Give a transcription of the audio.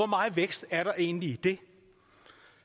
meget vækst er der egentlig i det